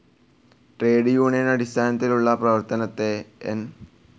Trade union അടിസ്ഥാനത്തിലുള്ള പ്രവർത്തനത്തെ N.